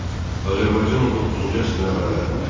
Azərbaycan 19-cu əsrin əvvəllərində.